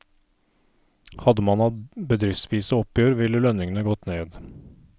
Hadde man hatt bedriftsvise oppgjør, ville lønningene gått ned.